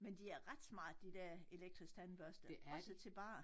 Men de er ret smarte de dér elektriske tandbørste også til bare